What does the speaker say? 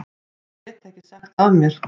Ég get ekki sagt af mér.